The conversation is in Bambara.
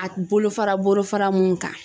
A bolofara bolofara mun kan